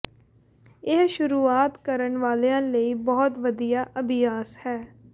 ਇਹ ਸ਼ੁਰੂਆਤ ਕਰਨ ਵਾਲਿਆਂ ਲਈ ਬਹੁਤ ਵਧੀਆ ਅਭਿਆਸ ਹੈ